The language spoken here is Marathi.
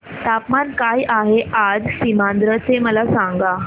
तापमान काय आहे आज सीमांध्र चे मला सांगा